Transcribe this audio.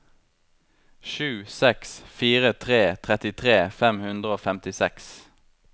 sju seks fire tre trettitre fem hundre og femtiseks